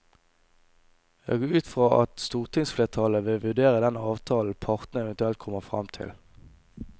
Jeg går ut fra at stortingsflertallet vil vurdere den avtalen partene eventuelt kommer frem til.